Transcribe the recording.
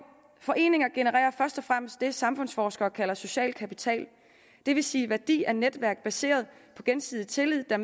foreninger genererer først og fremmest det samfundsforskere kalder social kapital det vil sige værdi af netværk baseret på gensidig tillid der